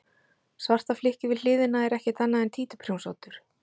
Svarta flykkið við hliðina er ekkert annað en títuprjónsoddur.